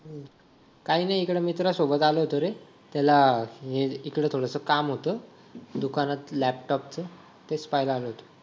काय नाही इकडे मित्रासोबत आलो होतो रे त्याला इकडे थोडसं काम होतं दुकानात लॅपटॉपच तेच पहायला आलो होतो